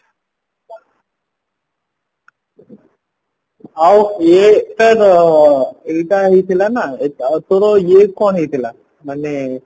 ଆଉ ଇଏ ଏଇଟା ହେଇଥିଲା ନାଁ ଆଉ ତୋର ଇଏ କଣ ହେଇଥିଲା ମାନେ